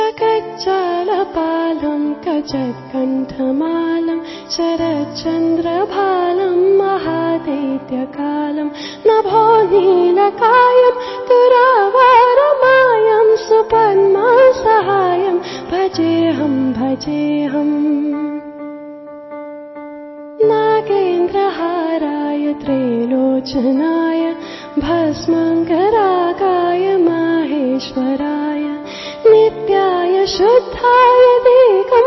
MKB EP 105 audio byte 1